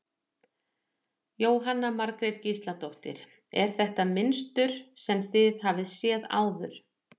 Jóhanna Margrét Gísladóttir: Er þetta mynstur sem þið hafið séð áður?